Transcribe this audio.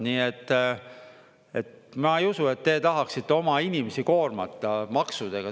Nii et ma ei usu, et te tahaksite oma inimesi koormata maksudega.